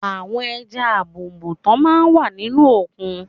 Àwọn ẹja àbùùùtán máa ń wà nínú òkun.